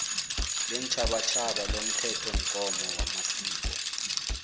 leentjhabatjhaba lomthethomgomo wamasiko